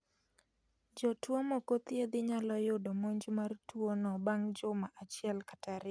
Jotuo mokothiedhi nyalo yudo monj mar tuo no bang' juma achiel kata ariyo